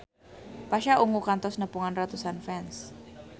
Pasha Ungu kantos nepungan ratusan fans